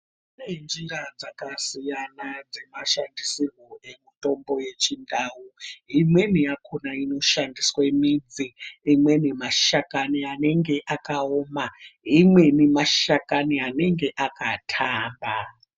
Kune nzvimbo dzakasiyana dzemashandisirai emitombo yechindau imweni yakona inoshandiswa midzi imweni mashakani anenge akaoma imweni mashakani anenge akatamba.